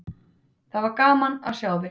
Það var gaman að sjá þig!